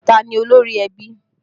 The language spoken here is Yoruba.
Ta ni olórí ẹbí?